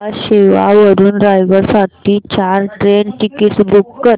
न्हावा शेवा वरून रायगड साठी चार ट्रेन टिकीट्स बुक कर